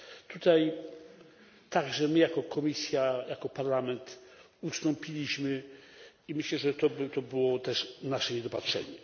Tutaj także my jako Komisja, jako Parlament ustąpiliśmy i myślę, że było to też nasze niedopatrzenie.